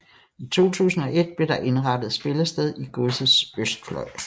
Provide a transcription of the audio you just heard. I 2001 blev der indrettet spillested i Godsets østfløj